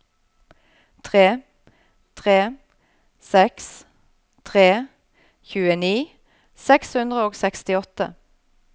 tre tre seks tre tjueni seks hundre og sekstiåtte